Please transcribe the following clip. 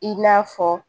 I n'a fɔ